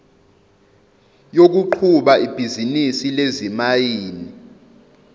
yokuqhuba ibhizinisi lezimayini